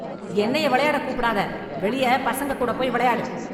என்னைய விளையாடக் கூப்பிடாத வெளியே பசங்க கூட போய் விளையாடு.